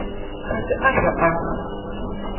ga se a hlwa a